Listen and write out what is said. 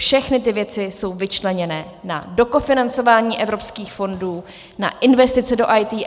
Všechny ty věci jsou vyčleněné na dokofinancování evropských fondů, na investici do IT.